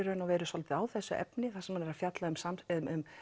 soldið á þessu efni þar sem hann er að fjalla um um